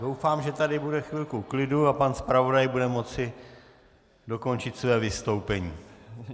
Doufám, že tady bude chvilku klidu a pan zpravodaj bude moci dokončit své vystoupení.